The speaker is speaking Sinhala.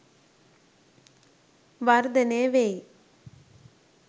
වර්ධනය වෙයි